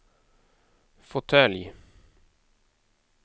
fåtölj